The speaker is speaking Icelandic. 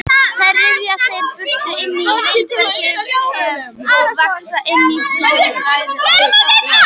Þær ryðja sér braut inn í heilbrigðan vef og vaxa inn í blóðæðar og sogæðar.